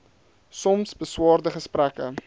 soms beswaarde gesprekke